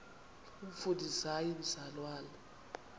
umfundisi hayi mzalwana